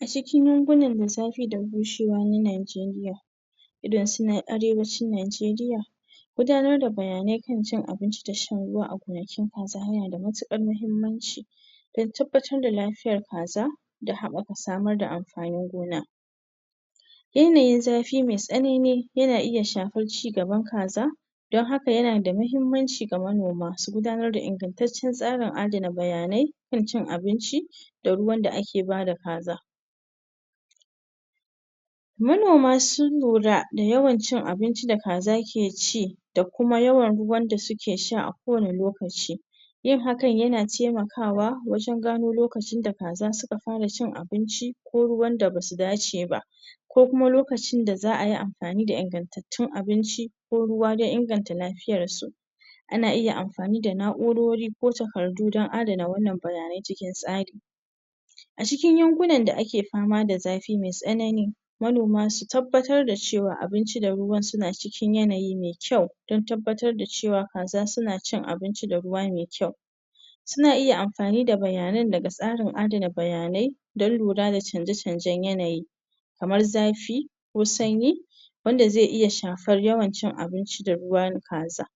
A cikin wannan lissafi da bushewa na Najeriya idonsu na Arewacin Najeriya Gudanar da bayanai kan cin abinci da shan ruwa a gonakin kaza yana da matuar muhimmanci don tabbatar da lafiyar kaza da haɓaka samar da amfanin gona. Yanayin zafi mai tsanani yana iya shafar cigaban kaza Don haka, yana da muhimmancin ga manoma su gudanar da ingantacciyar tsarin adana bayanai kan cin abinci da ruwan da ake ba da kaza Manoma sun lura da yawan cin abinci da kaza ke ci da kuma yawan ruwan da suke sha a kowane lokaci Yin hakan yana taimakawa wajen gano lokacin da kaza suka fara cin abinci ko ruwan da ba su dace ba. Ko kuma lokacin da za a yi amfani da ingantattun abinci ko ruwa don inganta lafiyarsu. Ana iya amafani da na'urori ko takardu don adana wannan bayanai cikin tsari A cikin yankunan da ake fama da zafi mai tsanani, manoma su tabbatar da cewa abinci da ruwa suna cikin yanayi mai kyau don tabbatar da cewa kaza suna cin abinci da ruwa mai kyau. Suna iya amfani da bayanan daga tsarin adana bayanai don lura da canje-canjen yanayi kamar zafi ko sanyi wanda zai iya shafar yawan cin abinci da ruwan kaza.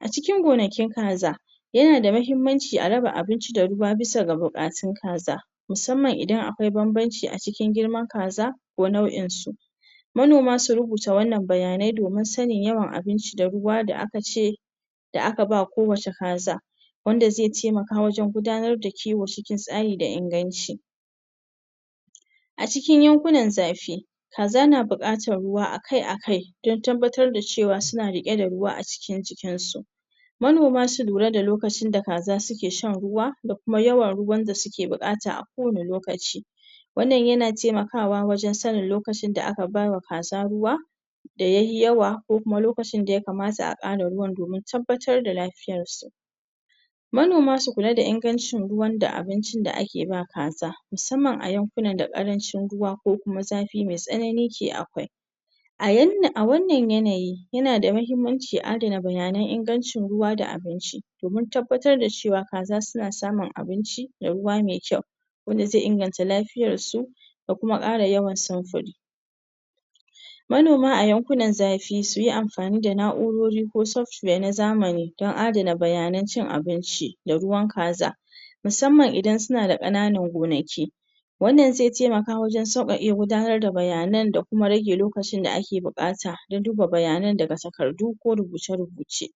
A cikin gonakin kaza, yana da muhimmanci a raba abinci da ruwa bisa ga buƙatun kaza musamman idan akwai bambanci a cikin girman kaza ko nau'insu. Manoma su rubuta wannan bayanai domin sanin yawan abinci da ruwa da aka ce da aka ba kowace kaza. Wanda zai taimaka wajen gudanar da kiwo cikin tsari da inganci. A cikin yankunan zafi, kaza na buƙatar ruwa a kai a kaidon tabbatar da cewa suna riƙe da ruwa a cikin jikinsu Manoma su lura da lokacin da kaza suke shan ruwa da kuma yawan ruwan da suke buƙata a kowane lokaci. Wannan yana taimakawa wajen sanin lokacin da aka ba wa kaza ruwa. da ya yi yawa ko kuma lokacin da ya kamata a ƙara ruwan domin tabbatar da lafiyarsu. Manoma su kula da ingancin ruwan da abincin da ake ba kaza, musamman a yankunan da ƙarancin ruwa ko kuma zafi mai tsanani ke akwai. A yan, a wannan yanayi, yana da muhimmanci a adana bayanan ingancin ruwa da abinci domin tabbatar da cewa kaza suna samun abinci da ruwa mai kyau wanda zai inganta lafiyarsu da kuma ƙara yawan samfur. Manoma a yankunan zafi su yi amfani da na'urori ko software na zamani don adana bayanan cin abinci da ruwan kaza musamman idan suna da ƙananan gobnaki. Wannan zai taimaka wajen sauƙaƙe gudanar da bayanan da kuma rage lokacin da ake buƙata don duba bayanan daga takardu ko rubuce-rubuce.